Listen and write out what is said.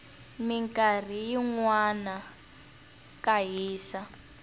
minkarhi yinwana ka hisa